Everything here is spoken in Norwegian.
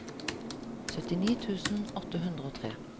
syttini tusen åtte hundre og tre